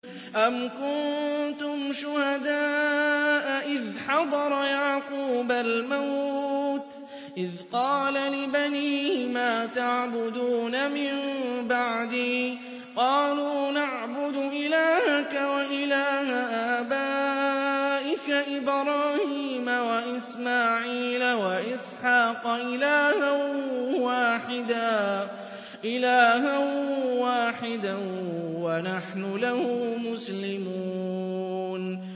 أَمْ كُنتُمْ شُهَدَاءَ إِذْ حَضَرَ يَعْقُوبَ الْمَوْتُ إِذْ قَالَ لِبَنِيهِ مَا تَعْبُدُونَ مِن بَعْدِي قَالُوا نَعْبُدُ إِلَٰهَكَ وَإِلَٰهَ آبَائِكَ إِبْرَاهِيمَ وَإِسْمَاعِيلَ وَإِسْحَاقَ إِلَٰهًا وَاحِدًا وَنَحْنُ لَهُ مُسْلِمُونَ